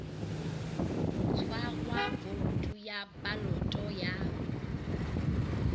tshwarwa voutu ya baloto ya